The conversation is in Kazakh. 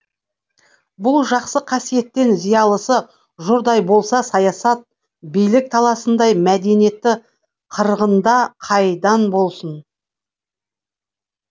бұл жақсы қасиеттен зиялысы жұрдай болса саясат билік таласындай мәдениетті қырғында қайдан болсын